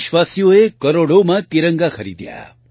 દેશવાસીઓએ કરોડોમાં તિરંગા ખરીદ્યા